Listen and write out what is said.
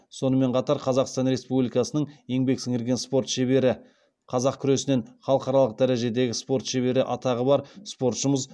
сонымен қатар қазақстан республикасының еңбек сіңірген спорт шебері қазақ күресінен халықаралық дәрежедегі спорт шебері атағы бар спортшымыз